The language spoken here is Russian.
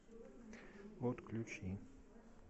отключи